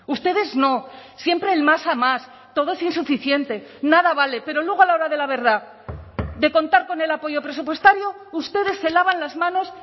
ustedes no siempre el más a más todo es insuficiente nada vale pero luego a la hora de la verdad de contar con el apoyo presupuestario ustedes se lavan las manos